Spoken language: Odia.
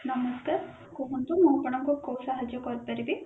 ନମସ୍କାର କୁହନ୍ତୁ ମୁଁ ଆପଣଙ୍କୁ କୋଉ ସାହାଜ୍ଯ କରି ପାରିବି